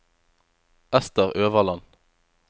Esther Øverland